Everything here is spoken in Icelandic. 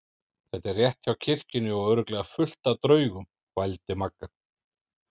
Þetta er rétt hjá kirkjunni og örugglega fullt af draugum. vældi Magga.